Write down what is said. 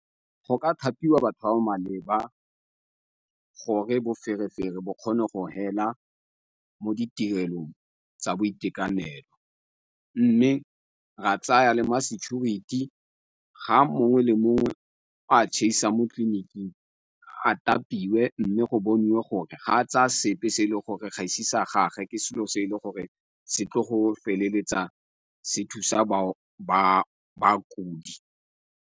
Go ka thapiwa batho ba ba maleba gore boferefere bo kgone go hela mo ditirelong tsa boitekanelo, mme ra tsaya le ma-security. Ga mongwe le mongwe a mo tleliniking, a , mme go boniwe gore ga tsa sepe, se e le gore gaisi sa gage ke selo se e le gore se tlo go feleletsa se thusa bakudi.